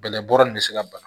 Bɛlɛbɔra nin bɛ se ka bana